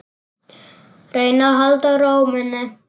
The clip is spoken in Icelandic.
Reyna að halda ró minni.